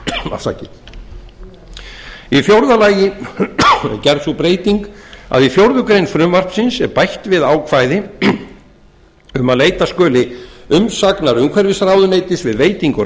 annað í fjórða lagi er gerð sú breyting í fjórða grein frumvarpsins er bætt við ákvæði um að leita skulu umsagnar umhverfisráðuneytis við veitingu